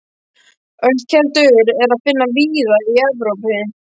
Ölkeldur er að finna víða í Evrópu.